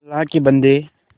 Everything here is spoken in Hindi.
अल्लाह के बन्दे